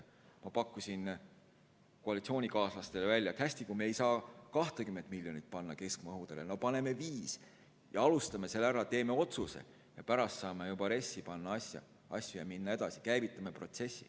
Ma pakkusin koalitsioonikaaslastele välja, et hästi, kui me ei saa 20 miljonit panna keskmaa õhutõrjele, no paneme siis 5 miljonit ja alustame sellega, teeme otsuse ja pärast saame juba RES‑i panna asju ja minna edasi, käivitame protsessi.